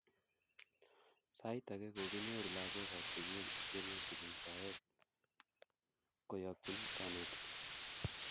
Sait ake kokinyoru lakok ab sukul tiemutik eng soet kuyakchin kanetik